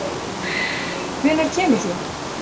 Hvenær kemur þú?